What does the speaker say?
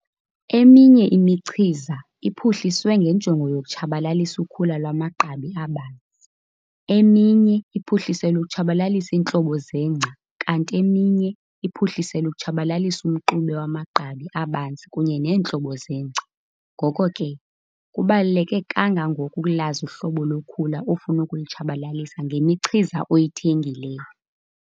Eminye imichiza iphuhliswe ngenjongo yokutshabalalisa ukhula lwamagqabi abanzi, eminye iphuhliselwe ukutshabalalisa iintlobo zengca kanti eminye iphuhliselwe ukutshabalalisa umxube wamagqabi abanzi kunye neentlobo zengca. Ngoko ke, kubaluleke kangangoko ukulazi uhlobo lokhula ofuna ukulutshabalalisa ngemichiza oyithengileyo.